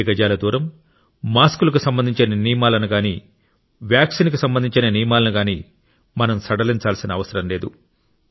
రెండు గజాల దూరం మాస్కులకు సంబంధించిన నియమాలను గానీ వ్యాక్సిన్కు సంబంధించిన నియమాలను గానీ మనం సడలించాల్సిన అవసరం లేదు